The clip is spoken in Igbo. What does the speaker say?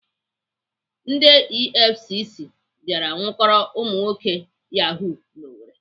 Ndị EFCC bịara nwụkọrọ ụmụnwoke Yahoo n'Owerri.